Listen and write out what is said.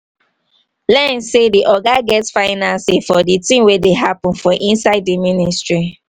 learn sey di oga get final sey for di thing wey dey happen for inside di ministry